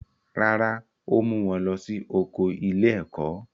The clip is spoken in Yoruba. Rárá, ó mú wọn lọ sí oko ilé-ẹ̀kó.